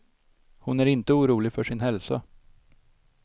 Hon är inte orolig för sin hälsa.